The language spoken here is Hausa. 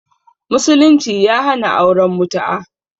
Musulunci ya hana auren mutu'a